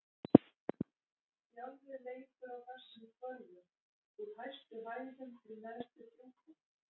Sjálfið leikur á þessum hvörfum: úr hæstu hæðum til neðstu djúpa.